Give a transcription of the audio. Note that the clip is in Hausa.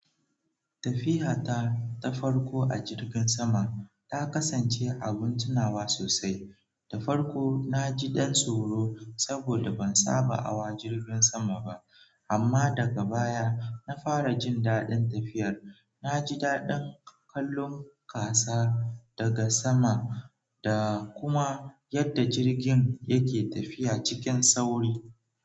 Tafiya ta ta farko a jirgin sama ta kasance abin tunawa sosai. Ta farko na ji ɗan tsoro saboda ban saba hawa jirgin sama ba. Amma daga baya na fara jin daɗin tafiyar. Na ji daɗin kallon ƙasa daga sama da kuma yadda jirgin yake tafiya cikin sauri.